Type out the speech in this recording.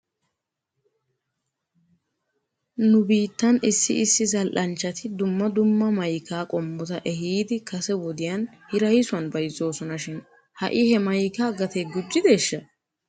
Nu biittan issi issi zal'anchchati dumma dumma maykaa qommota ehiidi kase wodiyan hiraysuwan bayzzoosona shin ha'i he maykaa gatee gujjideeshsha?